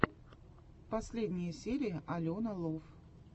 последняя серия алена лов